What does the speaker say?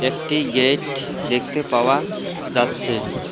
একটি গেট দেখতে পাওয়া যাচ্ছে।